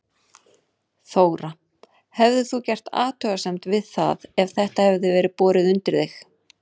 Þóra: Hefðir þú gert athugasemd við það ef þetta hefði verið borið undir þig?